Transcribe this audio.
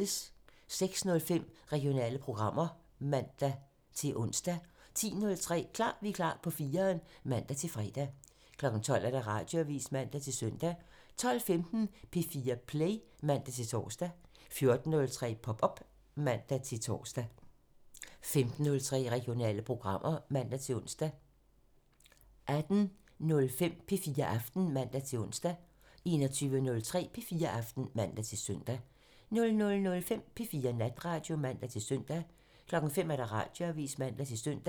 06:05: Regionale programmer (man-ons) 10:03: Klar Vikar på 4'eren (man-fre) 12:00: Radioavisen (man-søn) 12:15: P4 Play (man-tor) 14:03: Pop op (man-tor) 15:03: Regionale programmer (man-ons) 18:05: P4 Aften (man-ons) 21:03: P4 Aften (man-søn) 00:05: P4 Natradio (man-søn) 05:00: Radioavisen (man-søn)